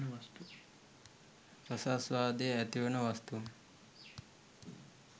රසාස්වාදය ඇතිවන වස්තූන්